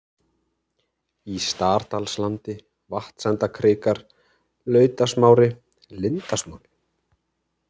Í Stardalslandi, Vatnsendakrikar, Lautasmári, Lindasmári